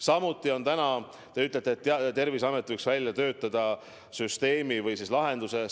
Samuti te ütlete, et Terviseamet võiks välja töötada süsteemi või lahenduse.